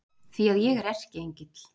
Því að ég er Erkiengill